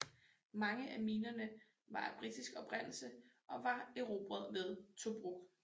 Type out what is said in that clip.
Mange af minerne var af britisk oprindelse og var erobret ved Tobruk